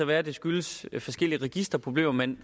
være det skyldes forskellige registerproblemer at man